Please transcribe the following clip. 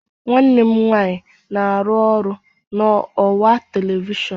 nwanne m nwanyị na-arụ ọrụ na ọwa telivishọn